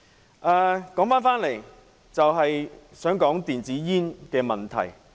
話說回來，我想談談電子煙的問題。